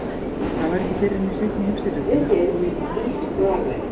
Það var ekki fyrr en í seinni heimsstyrjöldinni að áhugi manna á því kviknaði aftur.